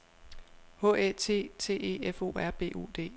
H Æ T T E F O R B U D